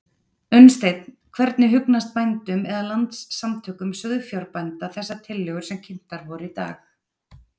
Unnsteinn, hvernig hugnast bændum eða Landssamtökum sauðfjárbænda þessar tillögur sem kynntar voru í dag?